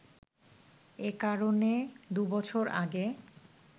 এ কারণে দু’বছর আগে